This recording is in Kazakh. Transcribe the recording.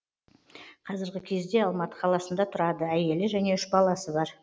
қазіргі кезде алматы қаласында тұрады әйелі және үш баласы бар